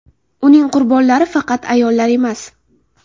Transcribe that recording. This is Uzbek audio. Uning qurbonlari faqat ayollar emas.